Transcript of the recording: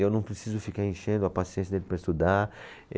Eu não preciso ficar enchendo a paciência dele para estudar.